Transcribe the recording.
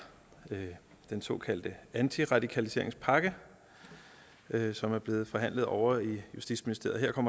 den såkaldte antiradikaliseringspakke som er blevet forhandlet ovre i justitsministeriet og